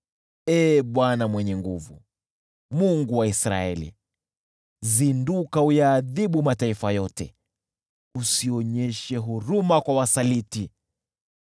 Ee Bwana Mwenye Nguvu Zote, Mungu wa Israeli! Zinduka uyaadhibu mataifa yote, usionyeshe huruma kwa wasaliti.